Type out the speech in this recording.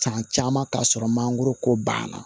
San caman ka sɔrɔ mangoro ko banna